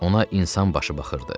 Ona insan başı baxırdı.